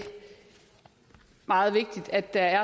meget vigtigt at der er